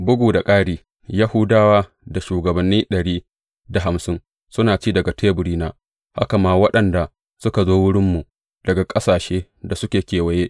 Bugu da ƙari, Yahudawa da shugabanni ɗari da hamsin suna ci daga teburina, haka ma waɗanda suka zo wurinmu daga ƙasashen da suke kewaye.